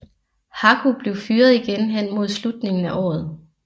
Haku blev fyret igen hen mod slutningen af året